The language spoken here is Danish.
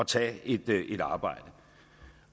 tage et arbejde